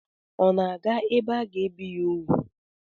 Ọ na-aga ebe aga-ebi ya úgwù?